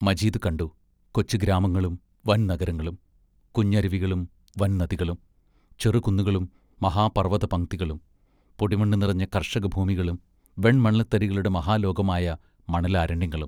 മജീദ് കണ്ടു കൊച്ചു ഗ്രാമങ്ങളും വൻ നഗരങ്ങളും; കുഞ്ഞരുവികളും വൻ നദികളും; ചെറുകുന്നുകളും മഹാ പർവതപംക്തികളും പൊടിമണ്ണു നിറഞ്ഞ കർഷക ഭൂമികളും വെൺമണൽതരികളുടെ മഹാലോകമായ മണലാരണ്യങ്ങളും.....